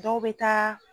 Dɔw bɛ taa